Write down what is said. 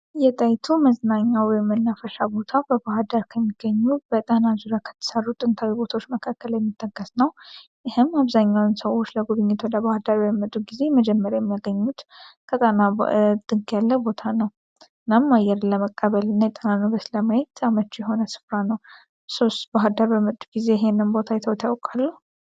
የጣይቱ መዝናኛ ወይም መናፈሻ ቦታ በባህርዳር ከሚገኙ በጣና ዙሪያ ከተሰሩ ጥንታዊ ቦታዎች መካከል የሚጠቀስ ነው። ይህም አብዛኛውን ሰዎች ለጉብኝት ወደ በባህርዳር በሚመጡ ጊዜ መጀመሪያ የሚያገኙት ከጣና ጥግ ያለ ቦታ ነው። እናም አየር ለመቀበል እና የጣናን ውበት በማየት አመቺ የሆነ ስፍራ ነው። እርሶስ በባህርዳር በመጡ ጊዜ ይሄንን ቦታ አይተውት ያውቃሉ?